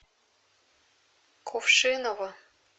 кувшиново